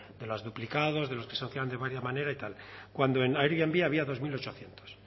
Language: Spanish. de los duplicados de los que de varia manera y tal cuando en airbnb había dos mil ochocientos